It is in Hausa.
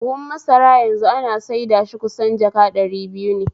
Buhu masara yanzu ana saida shi kusan jaka ɗari biyu ne